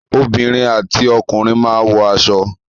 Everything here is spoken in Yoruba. Obìnrin àti ọkùnrin máa wọ aṣọ.